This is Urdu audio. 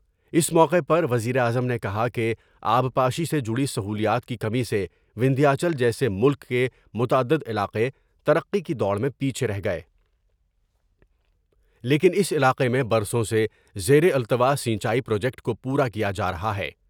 اس موقع پر وزیر اعظم نے کہا کہ آبپاشی سے جڑی سہولیات کی کمی سے وندھیا چل جیسے ملک کے متعدد علاقے ترقی کی دوڑ میں پیچھے رہ گئے لیکن اس علاقے میں برسوں سے زیر التوا سنچائی پروجیکٹ کو پورا کیا جا رہا ہے ۔